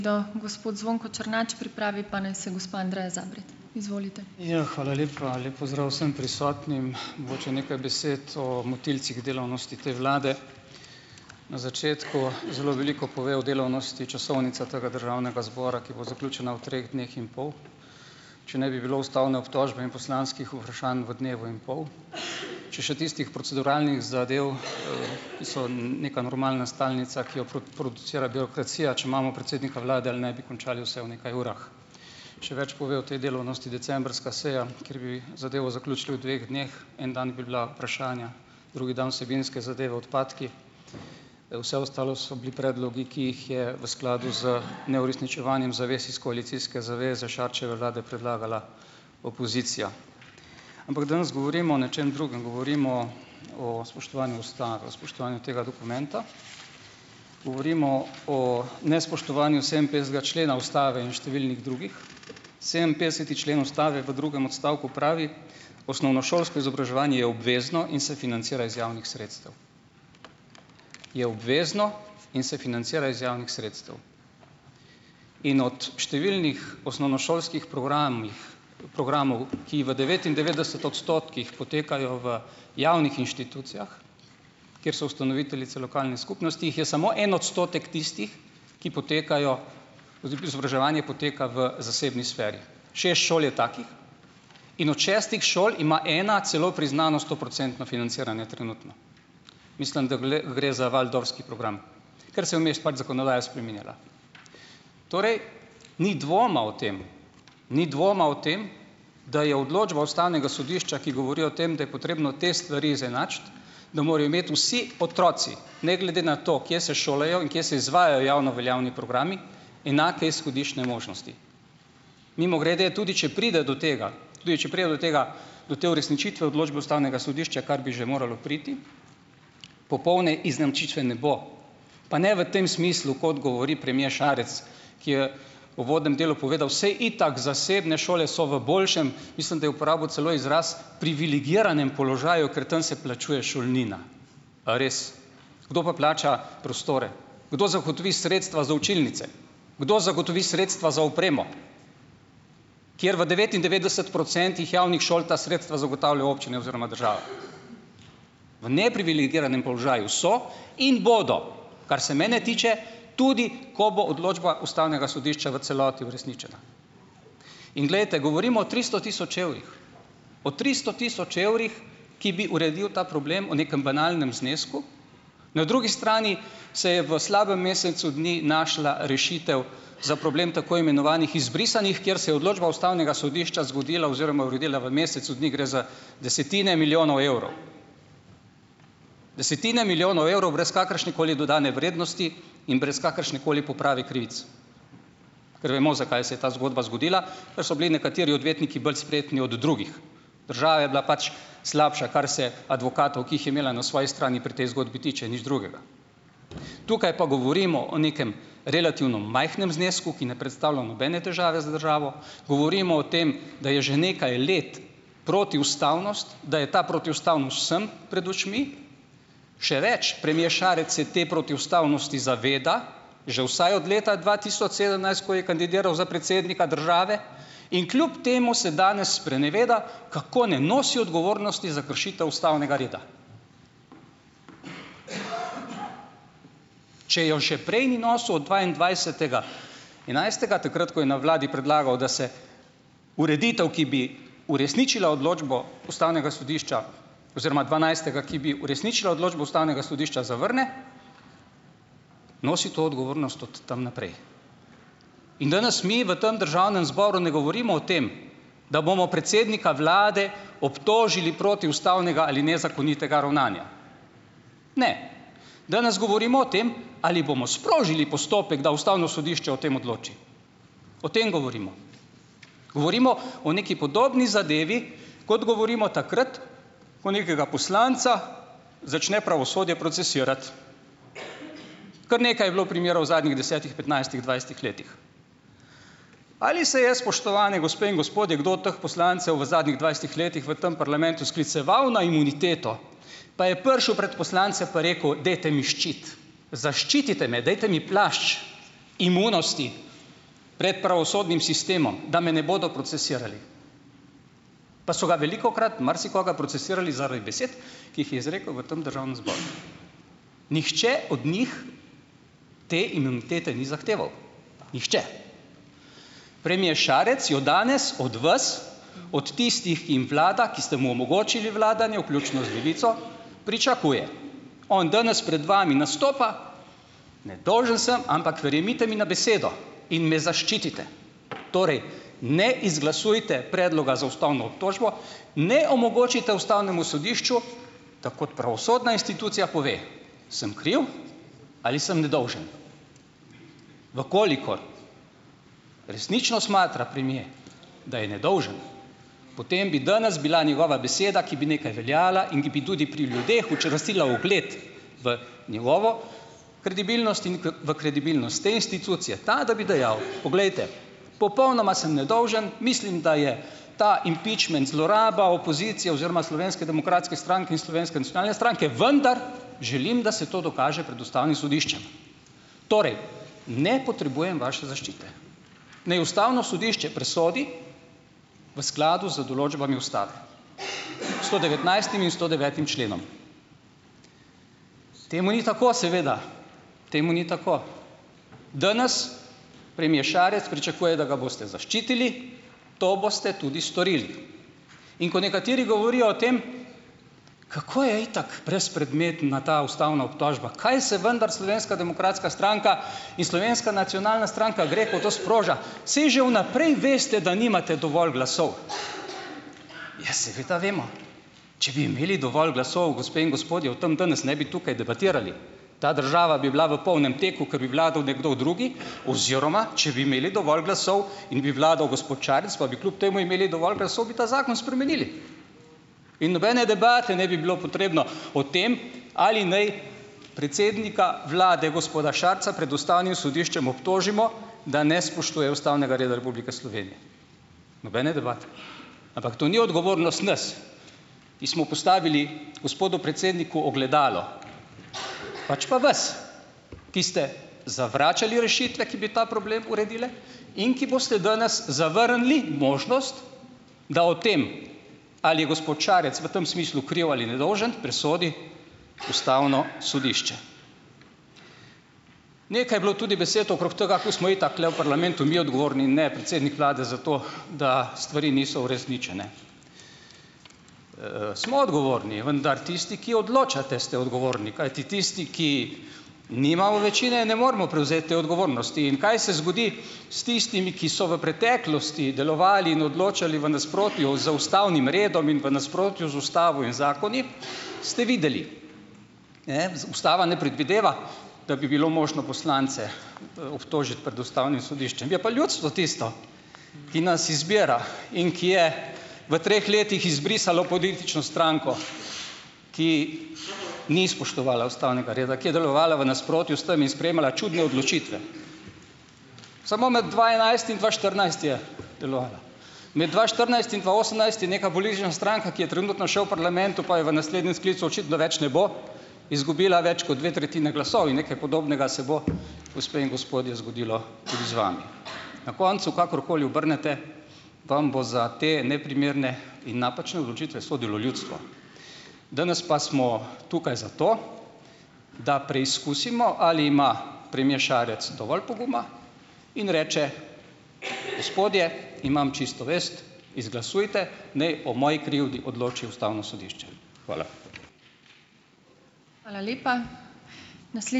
Ja, hvala lepa. Lep pozdrav vsem prisotnim! Mogoče nekaj besed o motilcih delavnosti te vlade. Na začetku zelo veliko pove o delavnosti časovnica tega državnega zbora, ki bo zaključena v treh dneh in pol. Če ne bi bilo ustavne obtožbe in poslanskih vprašanj v dnevu in pol. Če še tistih proceduralnih zadev, ki so neka normalna stalnica, ki jo producira birokracija, če imamo predsednika vlade ali ne, bi končali vse v nekaj urah. Še več pove o tej delavnosti decembrska seja, kjer bi zadevo zaključili v dveh dneh. En dan bi bila vprašanja, drugi dan vsebinske zadeve, odpadki. Vse ostalo so bili predlogi, ki jih je v skladu z neuresničevanjem zavez iz koalicijske zaveze Šarčeve vlade predlagala opozicija. Ampak danes govorimo o nečem drugem, govorimo o spoštovanju ustave, o spoštovanju tega dokumenta. Govorimo o nespoštovanju sedeminpetdesetega člena ustave in številnih drugih. Sedeminpetdeseti člen ustave v drugem odstavku pravi: "Osnovnošolsko izobraževanje je obvezno in se financira iz javnih sredstev". Je obvezno in se financira iz javnih sredstev. In od številnih osnovnošolskih programih, programov, ki v devetindevetdeset odstotkih potekajo v javnih inštitucijah, kjer so ustanoviteljice lokalne skupnosti, jih je samo en odstotek tistih, ki potekajo, izobraževanje poteka v zasebni sferi. Šest šol je takih, in od šestih šol ima ena celo priznano stoprocentno financiranje trenutno, mislim, da gre za waldorfski program, ker se je vmes pač zakonodaja spreminjala. Torej ni dvoma o tem, ni dvoma o tem, da je odločba ustavnega sodišča, ki govori o tem, da je potrebno te stvari izenačiti, da morajo imeti vsi otroci ne glede na to, kje se šolajo in kje se izvajajo javno veljavni programi, enake izhodiščne možnosti. Mimogrede, tudi če pride do tega, tudi če pride do tega, do te uresničitve odločbe ustavnega sodišča, kar bi že moralo priti, popolne izenačitve ne bo. Pa ne v tem smislu, kot govori premier Šarec, ki je v uvodnem delu povedal, saj itak zasebne šole so v boljšem - mislim, da je uporabil celo izras - privilegiranem položaju, ker tam se plačuje šolnina. A res? Kdo pa plača prostore? Kdo zagotovi sredstva za učilnice? Kdo zagotovi sredstva za opremo, kjer v devetindevetdeset procentih javnih šol ta sredstva zagotavljajo občine oziroma država. V neprivilegiranem položaju so in bodo, kar se mene tiče, tudi ko bo odločba ustavnega sodišča v celoti uresničena. In glejte, govorimo o tristo tisoč evrih, o tristo tisoč evrih, ki bi uredili ta problem, o nekem banalnem znesku. Na drugi strani se je v slabem mesecu dni našla rešitev za problem tako imenovanih izbrisanih, kjer se je odločba ustavnega sodišča zgodila oziroma uredila v mesecu dni, gre za desetine milijonov evrov, desetine milijonov evrov brez kakršnekoli dodane vrednosti in brez kakršnekoli poprave krivic, ker bomo, zakaj se je ta zgodba zgodila, ker so bili nekateri odvetniki bolj spretni od drugih. Država je bila pač slabša, kar se advokatov, ki jih je imela na svoji strani pri tej zgodbi, tiče. Nič drugega. Tukaj pa govorimo o nekem relativno majhnem znesku, ki ne predstavlja nobene težave za državo. Govorimo o tem, da je že nekaj let protiustavnost, da je ta protiustavnost vsem pred očmi. Še več, premier Šarec se te protiustavnosti zaveda že vsaj od leta dva tisoč sedemnajst, ko je kandidiral za predsednika države, in kljub temu se danes spreneveda, kako ne nosi odgovornosti za kršitev ustavnega reda. Če jo že prej ni nosil od dvaindvajsetega enajstega, takrat ko je na vladi predlagal, da se ureditev, ki bi uresničila odločbo ustavnega sodišča oziroma dvanajstega, ki bi uresničila odločbo ustavnega sodišča, zavrne nosi to odgovornost od tam naprej. In danes mi v tem državnem zboru ne govorimo o tem, da bomo predsednika vlade obtožili protiustavnega ali nezakonitega ravnanja. Ne, danes govorimo o tem, ali bomo sprožili postopek, da ustavno sodišče o tem odloči. O tem govorimo. Govorimo o neki podobni zadevi, kot govorimo takrat, ko nekega poslanca začne pravosodje procesirati. Kar nekaj je bilo primerov v zadnjih desetih, petnajstih, dvajsetih letih. Ali se je, spoštovani gospe in gospodje, kdo od teh poslancev v zadnjih dvajsetih letih v tam parlamentu skliceval na imuniteto, pa je prišel pred poslance, pa rekel: "Dajte mi ščit, zaščitite me, dajte mi plašč imunosti pred pravosodnim sistemom, da me ne bodo procesirali." Pa so ga velikokrat marsikoga procesirali zaradi besed, ki jih je izrekel v tem državnem zboru. Nihče od njih te imunitete ni zahteval, Nihče. Premier Šarec jo danes od vas, od tistih, ki jim vlada, ki ste mu omogočili vladanje, vključno z Levico, pričakuje. On danes pred vami nastopa: Nedolžen sem, ampak verjemite mi na besedo, in me zaščitite, torej, ne izglasujte predloga za ustavno obtožbo, ne omogočite ustavnemu sodišču, da kot pravosodna institucija pove, sem kriv ali sem nedolžen." V kolikor resnično smatra premier, da je nedolžen potem bi danes bila njegova beseda, ki bi nekaj veljala in ki bi tudi pri ljudeh učvrstila ugled v njegovo kredibilnost in v kredibilnost te institucije, ta, da bi dejal: "Poglejte, popolnoma sem nedolžen, mislim, da je ta impičment zloraba opozicije oziroma Slovenske demokratske stranke in Slovenske nacionalne stranke, vendar, želim, da se to dokaže pred ustavnim sodiščem. Torej, ne potrebujem vaše zaščite. Naj ustavno sodišče presodi, v skladu z določbami ustave, s sto devetnajstim in sto devetim členom." Temu ni tako seveda, temu ni tako. Danes, premier Šarec pričakuje, da ga boste zaščitili. To boste tudi storili. In ko nekateri govorijo o tem, kako je itak brezpredmetna ta ustavna obtožba, kaj se vendar Slovenska demokratska stranka in Slovenska nacionalna stranka gre, ko to sproža. Saj že vnaprej veste, da nimate dovolj glasov. Ja, seveda vemo. Če bi imeli dovolj glasov, gospe in gospodje, o tam danes ne bi tukaj debatirali. Ta država bi bila v polnem teku, kot bi vladal nekdo drugi, oziroma če bi imeli dovolj glasov in bi vladal gospod Šarec, pa bi kljub temu imeli dovolj glasov, bi ta zakon spremenili in nobene debate ne bi bilo potrebno o tem, ali naj predsednika vlade, gospoda Šarca, pred ustavnim sodiščem obtožimo, da ne spoštuje ustavnega reda Republike Slovenije. Nobene debate. Ampak to ni odgovornost nas. Mi smo postavili gospodu predsedniku ogledalo, pač pa vas, ki ste zavračali rešitve, ki bi ta problem uredile in ki boste danes zavrnili možnost, da o tem, ali je gospod Šarec v tem smislu kriv ali nedolžen, presodi ustavno sodišče. Nekaj je bilo tudi besed okrog tega, ko smo itak tule v parlamentu mi odgovorni in ne predsednik vlade, za to, da stvari niso uresničene. Smo odgovorni, vendar tisti, ki odločate, ste odgovorni, kajti tisti, ki nimamo večine, ne moremo prevzeti te odgovornosti in kaj se zgodi s tistimi, ki so v preteklosti delovali in odločali v nasprotju z ustavnim redom in v nasprotju z ustavo in zakoni, ste videli, ustava ne predvideva, da bi bilo možno poslance, obtožiti pred ustavnim sodiščem. Je pa ljudstvo tisto, ki nas izbira in ki je v treh letih izbrisalo politično stranko, ki ni spoštovala ustavnega reda, ki je delovala v nasprotju s tem in sprejemala čudne odločitve. Samo med dva enajst in dva štirinajst je delovala. Med dva štirinajst in dva osemnajst je neka politična stranka, ki je trenutno še v parlamentu, pa je v naslednjem sklicu očitno več ne bo, izgubila več kot dve tretjine glasov, in nekaj podobnega se bo, gospe in gospodje, zgodilo tudi z vami. Na koncu, kakorkoli obrnete, vam bo za te neprimerne in napačne odločitve sodilo ljudstvo. Danes pa smo tukaj zato, da preizkusimo, ali ima premier Šarec dovolj poguma in reče: "Gospodje, imam čisto vest, izglasujte, naj o moji krivdi odloči ustavno sodišče." Hvala.